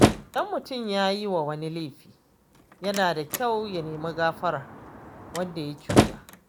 Idan mutum ya yiwa wani laifi, yana da kyau ya nemi gafarar wanda ya cuta.